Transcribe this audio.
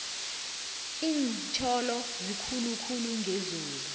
lintjolo zikhulu khulu ngezulu